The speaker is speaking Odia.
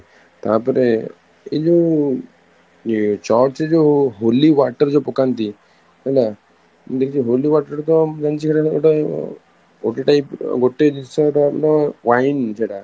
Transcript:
ତାପରେ ଏଇ ଯୋଉ church ଯୋଉ holy water ଯୋଉ ପକାନ୍ତି ହେଲା, ମୁଁ ଦେଖିଚି holy water ତ ମୁଁ ଜାଣିଛି ସେଟା ତ ଗୋଟେ ଗୋଟେ type ଗୋଟେ wine ସେଟା